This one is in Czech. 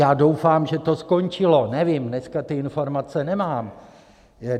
Já doufám, že to skončilo, nevím, dneska ty informace nemám.